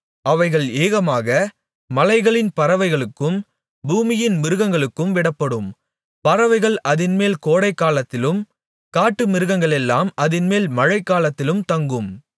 அவைகள் ஏகமாக மலைகளின் பறவைகளுக்கும் பூமியின் மிருகங்களுக்கும் விடப்படும் பறவைகள் அதின்மேல் கோடைக்காலத்திலும் காட்டுமிருகங்களெல்லாம் அதின்மேல் மழைக்காலத்திலும் தங்கும்